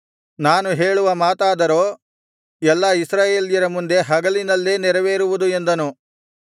ನಾನು ಹೇಳುವ ಮಾತಾದರೋ ಎಲ್ಲಾ ಇಸ್ರಾಯೇಲ್ಯರ ಮುಂದೆ ಹಗಲಿನಲ್ಲೇ ನೆರವೇರುವುದು ಎಂದನು